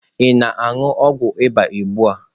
Ị na-anu ogwu ịba ugbu a?